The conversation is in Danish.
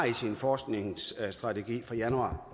i sin forskningsstrategi fra januar